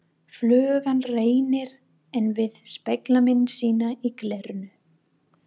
Flugan reynir enn við spegilmynd sína í glerinu.